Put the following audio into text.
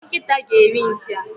Nkịta ga eri nsị a